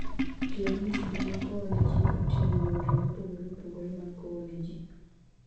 Tiyo gi masinde mag kowo ne ji oting'o yore mopogore opogore mag kowo ne ji.